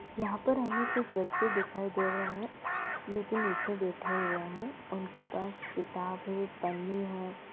यहाँ पर हमे कुछ बच्चे दिखायी दे रहे हैं जोकि नीचे बैठे हुए हैं | उनके पास किताबें पन्ने हैं।